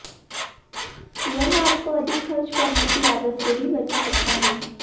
यह आपको अधिक खर्च करने की आदत से भी बचा सकता है